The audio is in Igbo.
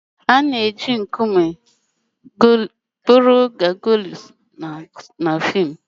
A na-eji nkume kpụrụ Gargoyles na fim.